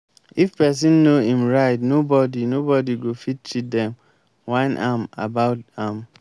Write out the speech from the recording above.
if pesin know em right nobody nobody go fit cheat dem whine am about am.